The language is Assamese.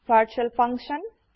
virtual function